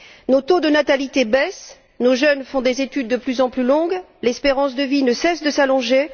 Nos taux de natalité baissent, nos jeunes font des études de plus en plus longues, l'espérance de vie ne cesse de s'allonger.